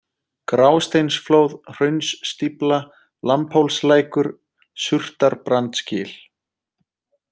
Grásteinsflóð, Hraunsstífla, Lambhólslækur, Surtarbrandsgil